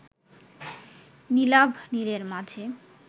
নীলাভ নীলের মাঝে